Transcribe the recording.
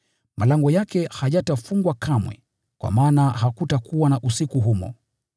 Malango yake hayatafungwa kamwe, kwa maana hakutakuwa na usiku humo.